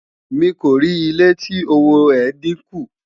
mí kò rí ilé tí òwò é dín kún